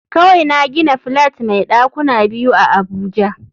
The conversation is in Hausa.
Kawai na gina flat mai dakuna biyu a abuja